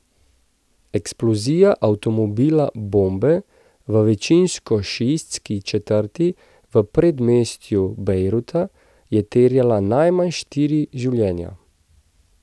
Eksplozija avtomobila bombe v večinsko šiitski četrti v predmestju Bejruta je terjala najmanj štiri življenja.